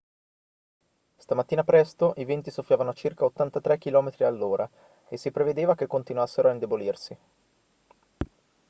stamattina presto i venti soffiavano a circa 83 km/h e si prevedeva che continuassero a indebolirsi